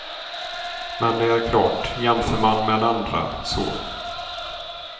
Men det är klart, jämför man med andra, så.